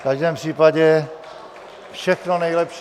V každém případě všechno nejlepší.